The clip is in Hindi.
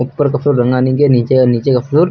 ऊपर का फ्लोर रंगा नहीं गया। नीचे आ नीचे का फ्लोर --